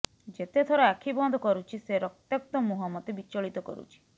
ଯେତେଥର ଆଖି ବନ୍ଦ କରୁଛି ସେ ରକ୍ତାକ୍ତ ମୁହଁ ମୋତେ ବିଚଳିତ କରୁଛି